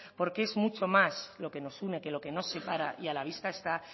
porque es mucho más lo que nos une que lo que nos separa y a la vista está